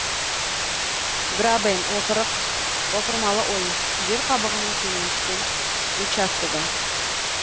грабен опырық опырмалы ойыс жер қабығының төмен түскен участогы